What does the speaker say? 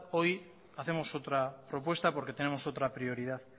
hoy hacemos otra propuesta porque tenemos otra prioridad